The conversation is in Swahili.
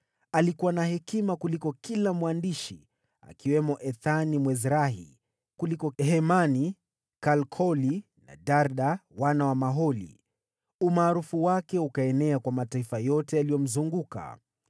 Alikuwa na hekima kuliko kila mwandishi, akiwemo Ethani Mwezrahi: kuliko Hemani, Kalkoli na Darda, wana wa Maholi. Umaarufu wake ukaenea kwa mataifa yote yaliyomzunguka.